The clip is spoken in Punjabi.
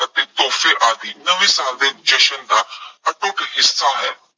ਅਤੇ ਤੋਹਫੇ ਆਦਿ ਨਵੇਂ ਸਾਲ ਦੇ ਜਸ਼ਨ ਦਾ ਅਟੁੱਟ ਹਿੱਸਾ ਹੈ।